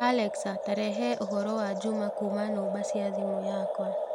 Alexa, ta rehe ũhoro wa Juma kuuma nũmba cia thimũ yiakwa